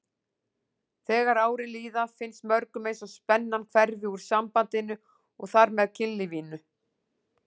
Þegar árin líða finnst mörgum eins og spennan hverfi úr sambandinu og þar með kynlífinu.